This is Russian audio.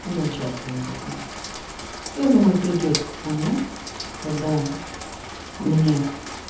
не участвую в этом я думаю придёт момент когда мне